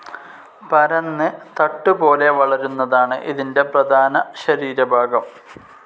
പരന്ന് തട്ടുപോലെ വളരുന്നതാണ് ഇതിന്റെ പ്രധാന ശരീരഭാഗം.